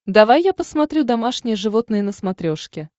давай я посмотрю домашние животные на смотрешке